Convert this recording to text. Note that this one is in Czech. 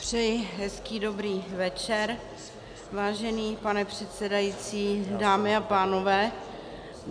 Přeji hezký dobrý večer, vážený pane předsedající, dámy a pánové.